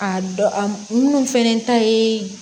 A dɔ a minnu fɛnɛ ta ye